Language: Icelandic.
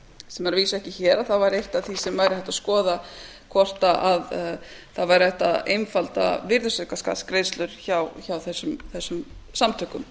sem er að vísu ekki hér þá væri eitt af því sem væri hægt að skoða hvort hægt væri að einfalda virðisaukaskattsgreiðslur hjá þessum samtökum